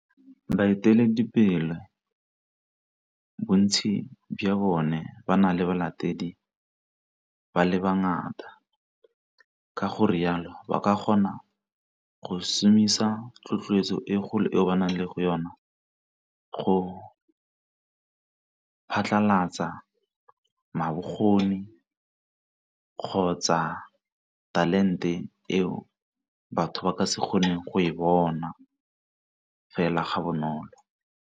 Baeteledipele, bontsi jwa bone ba na le balatedi ba le ba ngata ka gore jalo ba ka kgona go šomiša tlhotloetso e le go yona go phatlhalatsa bokgoni kgotsa talente eo batho ba ka se kgoneng go e bona fela ga bonolo.